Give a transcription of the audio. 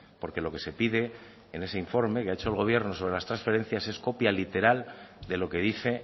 porque lo que se pide en ese informe que ha hecho el gobierno sobre las transferencias es copia literal de lo que dice